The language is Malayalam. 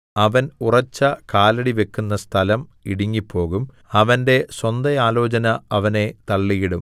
അവൻ ഉറച്ച കാലടി വയ്ക്കുന്ന സ്ഥലം ഇടുങ്ങിപ്പോകും അവന്റെ സ്വന്ത ആലോചന അവനെ തള്ളിയിടും